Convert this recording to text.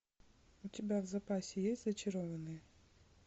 у тебя в запасе есть зачарованные